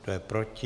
Kdo je proti?